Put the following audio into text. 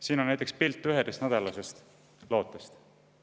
Siin on näiteks pilt 11-nädalasest lootest.